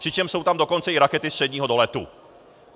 Přičemž jsou tam dokonce i rakety středního doletu.